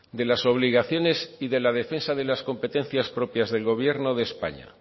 de las obligaciones y de la defensa de las competencias propias del gobierno de españa